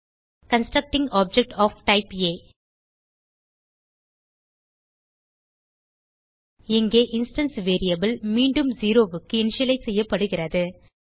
constructing object of type ஆ இங்கே instance variable மீண்டும் 0க்கு இனிஷியலைஸ் செய்யப்படுகிறது